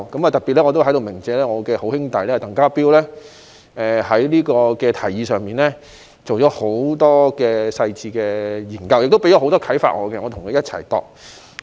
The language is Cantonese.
我在這裏特別鳴謝我的好兄弟鄧家彪，他在這項提議上進行了很多細緻的研究，令我得到很多啟發，由我和他一起擬訂。